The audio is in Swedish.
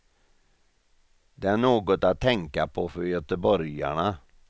Det är något att tänka på för göteborgarna.